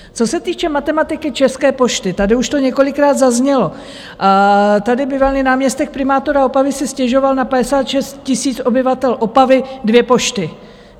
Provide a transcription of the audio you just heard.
Co se týče matematiky České pošty, tady už to několikrát zaznělo, tady bývalý náměstek primátora Opavy si stěžoval na 56 000 obyvatel Opavy, dvě pošty.